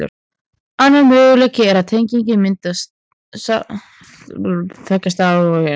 Annar möguleiki er að tenging myndist milli tveggja staða í okkar eigin alheimi.